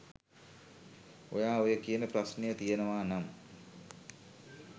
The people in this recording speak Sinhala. ඔයා ඔය කියන ප්‍රශ්නය තියෙනවා නම්